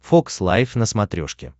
фокс лайф на смотрешке